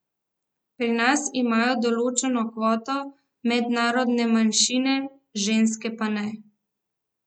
Pri nas imajo določeno kvoto narodnostne manjšine, ženske pa ne.